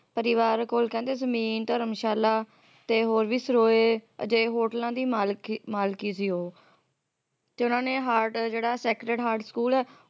ਪਰਿਵਾਰ ਕੋਲ ਕਹਿੰਦੇ ਜ਼ਮੀਨ ਧਰਮਸ਼ਾਲਾ ਤੇ ਹੋਰ ਵੀ ਸਰੋਏ ਜਿਹੇ ਹੋਟਲਾਂ ਦੀ ਮਾਲਕ ਮਾਲਕੀ ਸੀ ਉਹ ਤੇ ਓਹਨਾ ਨੇ heart ਜਿਹੜਾ ਸੈਕਰਡ heart ਸਕੂਲ